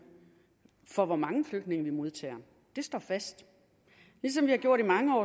for hvor mange flygtninge vi modtager det står fast ligesom vi har gjort i mange